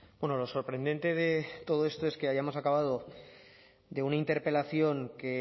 bueno lo sorprendente de todo esto es que ya hayamos acabado de una interpelación que